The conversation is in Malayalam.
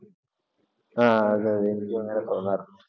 ആ അതെ അതെ എനിക്കും അങ്ങനെ തോന്നാറുണ്ട്.